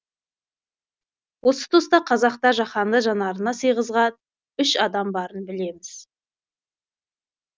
осы тұста қазақта жаһанды жанарына сыйғызға үш адам барын білеміз